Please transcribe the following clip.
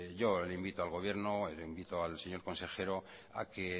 yo le invito al gobierno le invito al señor consejero a que